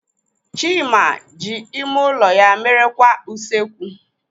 Chima ji ime ụlọ ya mere kwa usekwu.